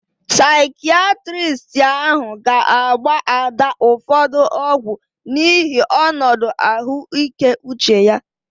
Saikiatristi ahụ ga agba Ada ụfọdụ ọgwu n'ihi onodu ahuike uche ya